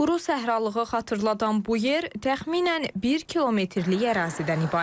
Quru səhralığı xatırladan bu yer təxminən bir kilometrlik ərazidən ibarətdir.